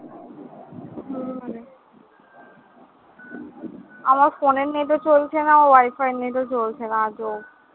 আমার phone এর net ও চলছে না wifi র net ও চলছে না, আজব।